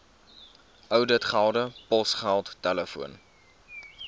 ouditgelde posgeld telefoon